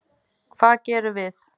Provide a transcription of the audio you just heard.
Hvað gerðum við?